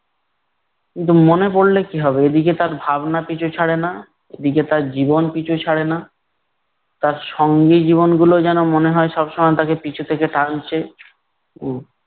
কিন্তু মনে পড়লে কী হবে এইদিকে তার ভাবনা পিছু ছাড়ে না, ওইদিকে তার জীবন পিছু ছাড়ে না। তার সঙ্গী জীবনগুলো যেনো মনে হয় সবসময় তাকে পিছু থেকে টানছে। উম